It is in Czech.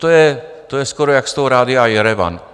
To je skoro jak z toho rádia Jerevan.